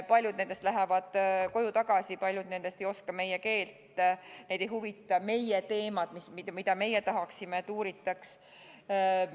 Paljud nendest lähevad koju tagasi, paljud nendest ei oska meie keelt, neid ei huvitanud meie teemad, mida meie tahaksime, et uuritaks.